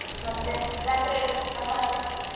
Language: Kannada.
ಮತ್ತೆ ಜಾತ್ರೆ ಅಲ್ಲಿ ಗಮ್ಮತ್ತಾ?